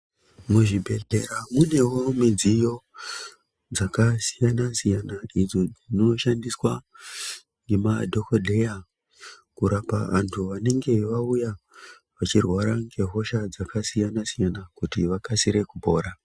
Muzvibhedhlera munewo midziyo dzakasiyana siyana idzo dzinoshandiswa nemadhogodheya kurapa antu anenge auya achirwara nehosha dzakasiyana siyana kuti vakasire kupora.